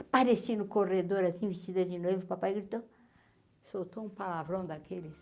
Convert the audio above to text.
Apareci no corredor assim, vestida de noiva, o papai gritou, soltou um palavrão daqueles.